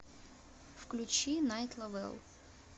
включи найт ловел